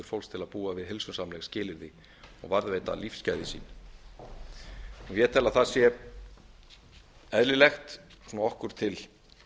fólks til að búa við heilsusamleg skilyrði og varðveita lífsgæði sín ég tel að það sé eðlilegt svona okkur til